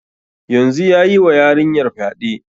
Yanzun yayi wa yarinyar fyaɗe